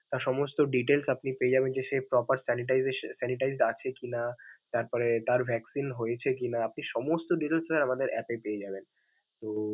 তার সমস্ত details আপনি পেয়ে যাবেন যে সে proper sanitation আছে কি না, তারপরে তার vaccine হয়েছে কি না, আপনি সমস্ত details আমাদের app এ পেয়ে যাবেন, তো.